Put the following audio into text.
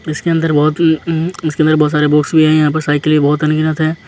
इसके अंदर बहुत हम्म इसके अंदर बहुत सारे वोट्स भी हैं यहाँ पर साइकिल बहुत अनगिनित हैं।